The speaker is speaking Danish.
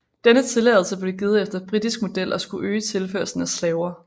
Denne tilladelse blev givet efter britisk model og skulle øge tilførslen af slaver